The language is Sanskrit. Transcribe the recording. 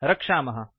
रक्षामः